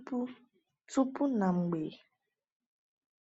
Tupu Tupu na Mgbe